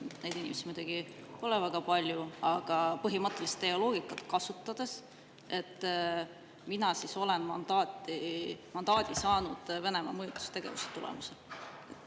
Neid inimesi ei ole muidugi väga palju, aga teie loogikat kasutades võib öelda, et mina olen mandaadi saanud Venemaa mõjutustegevuse tulemusel.